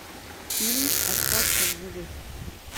фильм остаться в живых